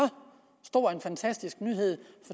stor en fantastisk nyhed